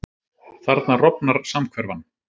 Þarna rofnar samhverfan.